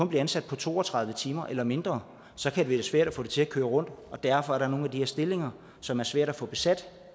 bliver ansat på to og tredive timer eller mindre så kan det være svært at få det til at køre rundt og derfor er der nogle af de her stillinger som er svære at få besat